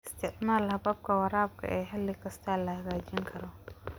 Isticmaal hababka waraabka ee xilli kasta la hagaajin karo.